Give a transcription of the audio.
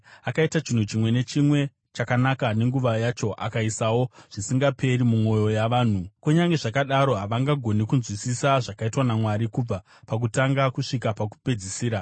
Akaita chinhu chimwe nechimwe chakanaka nenguva yacho. Akaisawo zvisingaperi mumwoyo yavanhu; kunyange zvakadaro havangagoni kunzwisisa zvakaitwa naMwari kubva pakutanga kusvika pakupedzisira.